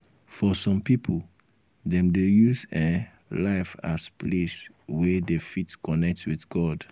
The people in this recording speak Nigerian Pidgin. for some pipo dem dey see um life as place wey dem fit connect with god